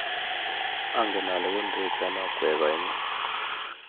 Anget kole konerekchon akwek aengu